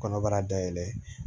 Kɔnɔbara dayɛlɛ